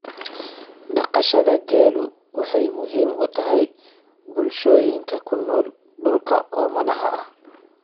Dhaqashada geelu waxay muhiim u tahay bulshooyinka ku nool dhulka oomanaha ah.